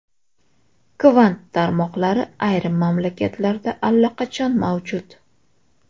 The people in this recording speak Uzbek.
Kvant tarmoqlari ayrim mamlakatlarda allaqachon mavjud.